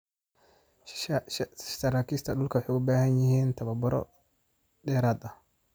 Saraakiisha dhulku waxay u baahan yihiin tababaro dheeraad ah.